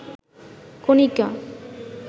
Konika